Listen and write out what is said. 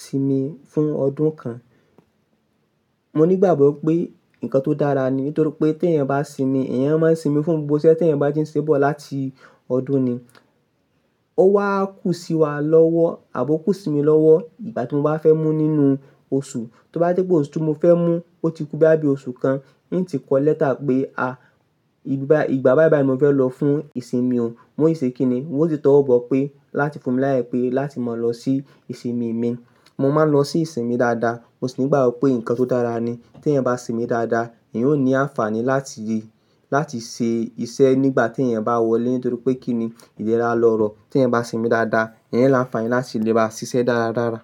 sinmi fún ọdún kan. Mo ní ìgbàgbọ́ pé nǹkan tó dára ni nítorí pé tí èèyàn bá sinmi, èèyàn máa n sinmi fún gbogbo iṣé tí èèyàn bá ti n se bọ̀ láti ọdún ni. Ó wá kú sí wa lọ́wọ́ àbi ókú sí mi lọ́wọ́ ìgbà tí mo bá fẹ́ mú nínú oṣù. Tí ó bá tí fe pé oṣù tí mo fẹ́ mú un ti o ti kú bí i oṣù kan, n ó ti kọ lẹ́tà pé, a ìgbà báí báí ni mo fẹ́ lọ fún ìsinmi ò. Mo si ṣe kíni, mo sì tọ́ wọ bọ̀ pé láti fún mi láye pé láti mọ̀ lọ sí ìsinmi mi. Mo máa ń lọ sí ìsinmi dáadáa. Mo sì ní ìgbàgbọ́ pé nǹkan tó dára ni. Tí èèyàn bá sinmi dáadáa, èèyàn ó ní àǹfààní láti, láti ṣe iṣẹ́ nígbà tí èèyàn bá wọlé nítorí pé kíni ìlera lọ̀rọ̀. Tí èèyàn bá simi dáadáa, èèyàn l'áǹfààní láti lè bá ṣiṣẹ́ dára dára.